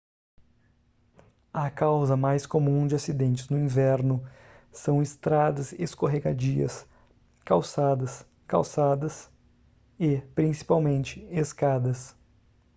a causa mais comum de acidentes no inverno são estradas escorregadias calçadas calçadas e principalmente escadas